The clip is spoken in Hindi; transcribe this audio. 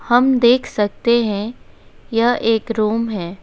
हम देख सकते हैं यह एक रूम है।